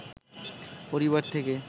পরিবার থেকে